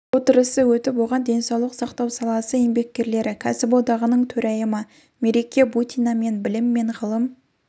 отырысы өтіп оған денсаулық сақтау саласы еңбеккерлері кәсіподағының төрайымы мереке бутина мен білім мен ғылым